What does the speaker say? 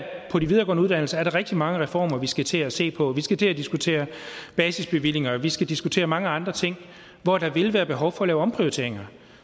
på de videregående uddannelser er der rigtig mange reformer vi skal til at se på vi skal til at diskutere basisbevillinger og vi skal diskutere mange andre ting hvor der vil være behov for at lave omprioriteringer